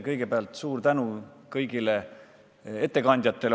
Kõigepealt suur tänu kõigile ettekandjatele!